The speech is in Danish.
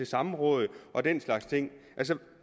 samråd og den slags ting altså